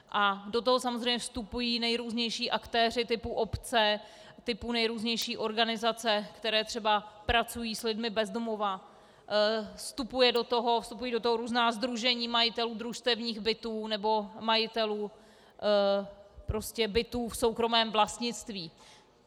A do toho samozřejmě vstupují nejrůznější aktéři typu obce, typu nejrůznější organizace, které třeba pracují s lidmi bez domova, vstupují do toho různá sdružení majitelů družstevních bytů nebo majitelů bytů v soukromém vlastnictví.